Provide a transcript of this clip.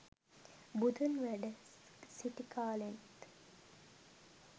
බුදුන් වැඩ සිටි කාලෙත්